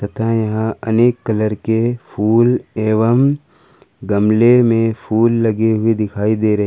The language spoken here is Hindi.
अनेक कलर के फूल एवं गमले में फूल लगे हुए दिखाई दे रहे--